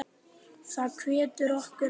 Það hvetur okkur áfram.